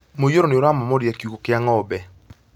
Mũiyũro nĩ ũramomorire kiugũ kĩa ng'ombe